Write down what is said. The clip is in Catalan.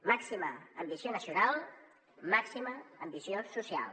màxima ambició nacional màxima ambició social